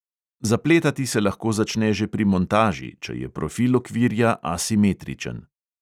Zapletati se lahko začne že pri montaži, če je profil okvirja asimetričen.